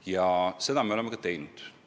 " Ja seda me oleme ka teinud.